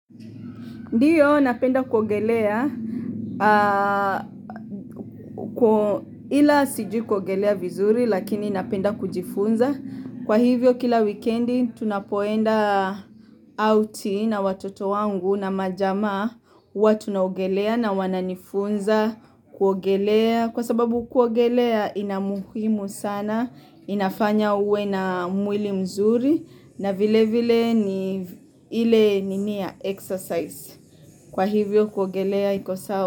Ndiyo napenda kuogelea ila sijui kuogelea vizuri lakini napenda kujifunza. Kwa hivyo kila weekendi tunapoenda outi na watoto wangu na majamaa wa tunaogelea na wananifunza kuogelea. Kwa sababu kuogelea ina muhimu sana, inafanya uwe na mwili mzuri na vile vile ni ile nini ya exercise. Kwa hivyo kwa guogelea iko sawa.